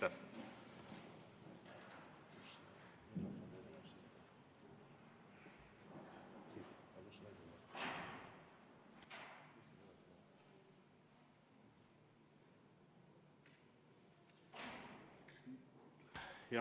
Aitäh!